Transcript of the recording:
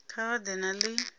kha vha ḓe na ḽi